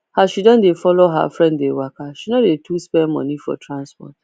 as she dey follow her friend dey waka she no too dey spend money for transport